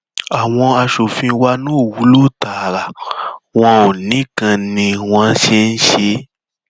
àwọn aṣòfin wa náà ò wúlò tara wọn nìkan ni wọn ń ń ṣe